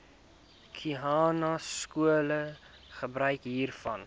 khanyaskole gebruik hiervan